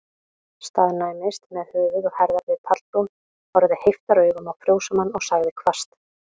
Staðnæmdist með höfuð og herðar við pallbrún, horfði heiftaraugum á fjósamann, og sagði hvasst